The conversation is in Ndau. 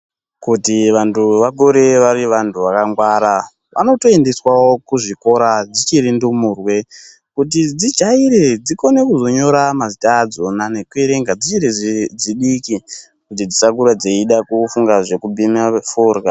Kuti vantu vakure vari vantu vakangwara vanotoendeswawo kuzvikora dzichiri ndumurwe kuti dzijaire dzikone kuzonyora mazita adzona nekuerenga dzichiri dzidiki kuti dzisakura dzeida kufunga zvekubhema forya.